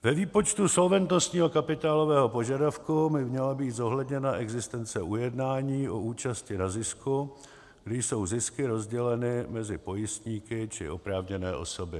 Ve výpočtu solventnostního kapitálového požadavku by měla být zohledněna existence ujednání o účasti na zisku, kdy jsou zisky rozděleny mezi pojistníky či oprávněné osoby.